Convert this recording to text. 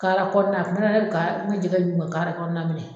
Kaala kɔnɔ na a kun bɛ na ne ka ne jɛgɛ d'u ma kɔnɔ na de la.